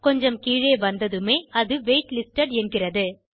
கொஞ்சம் கீழே வந்ததுமே அது வெய்ட் லிஸ்டட் என்கிறது